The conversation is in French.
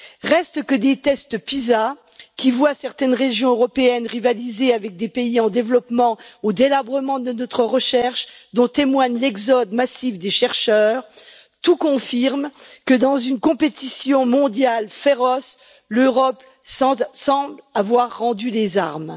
Reste que des tests Pisa, qui voient certaines régions européennes rivaliser avec des pays en développement, au délabrement de notre recherche, dont témoigne l'exode massif des chercheurs, tout confirme que, dans une concurrence mondiale féroce, l'Europe semble avoir rendu les armes.